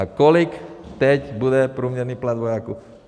A kolik teď bude průměrný plat vojáků?